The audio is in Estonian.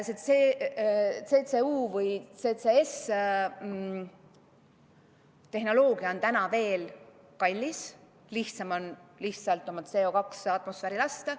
See CCU- või CCS-tehnoloogia on täna veel kallis, lihtsam on oma CO2 atmosfääri lasta.